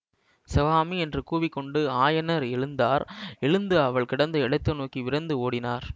சிவகாமி என்று கூவிக்கொண்டு ஆயனர் எழுந்தார் எழுந்து அவள் கிடந்த இடத்தை நோக்கி விரைந்து ஓடினார்